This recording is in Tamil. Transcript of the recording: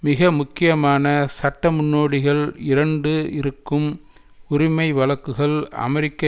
மிக முக்கியமான சட்ட முன்னோடிகள் இரண்டு இருக்கும் உரிமை வழக்குகள் அமெரிக்க